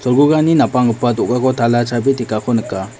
napanggipa do·gako tala chabi tekako nika.